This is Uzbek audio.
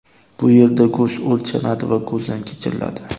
Bu yerda go‘sht o‘lchanadi va ko‘zdan kechiriladi.